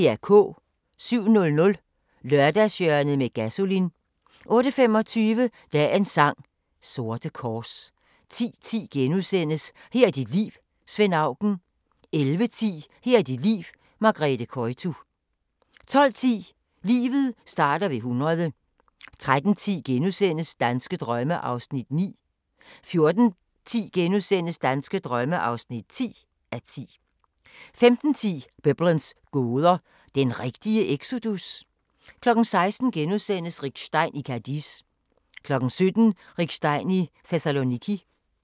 07:00: Lørdagshjørnet med Gasolin 08:25: Dagens sang: Sorte kors 10:10: Her er dit liv – Svend Auken * 11:10: Her er dit liv – Margrethe Koytu 12:10: Livet starter ved 100 13:10: Danske drømme (9:10)* 14:10: Danske drømme (10:10) 15:10: Biblens gåder – den rigtige exodus? 16:00: Rick Stein i Cadiz * 17:00: Rick Stein i Thessaloniki